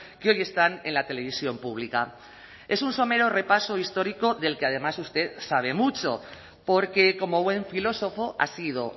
que hoy están en la televisión pública es un somero repaso histórico del que además usted sabe mucho porque como buen filósofo ha sido